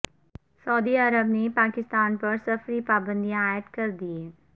سعودی Arab نے پاکستان پر سفری پابندیاں عائد کر دیں